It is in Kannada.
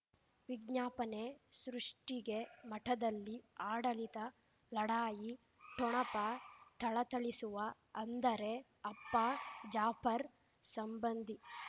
ವಿಜ್ಞಾಪನೆ ಸೃಷ್ಟಿಗೆ ಮಠದಲ್ಲಿ ಆಡಳಿತ ಲಢಾಯಿ ಠೊಣಪ ಥಳಥಳಿಸುವ ಅಂದರೆ ಅಪ್ಪ ಜಾಫರ್ ಸಂಬಂಧಿ